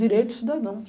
Direito do cidadão.